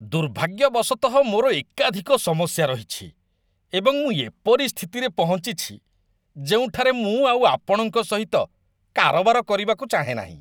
ଦୁର୍ଭାଗ୍ୟବଶତଃ ମୋର ଏକାଧିକ ସମସ୍ୟା ରହିଛି ଏବଂ ମୁଁ ଏପରି ସ୍ଥିତିରେ ପହଞ୍ଚିଛି ଯେଉଁଠାରେ ମୁଁ ଆଉ ଆପଣଙ୍କ ସହିତ କାରବାର କରିବାକୁ ଚାହେଁ ନାହିଁ ।